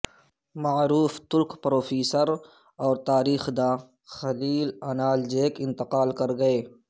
معروف ترک پروفیسر اور تاریخ دان خلیل انالجیک انتقال کر گئے